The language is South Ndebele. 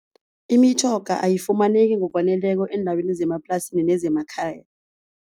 Imitjhoga ayifumaneki ngokwaneleko eendaweni zemaplasini nezemakhaya.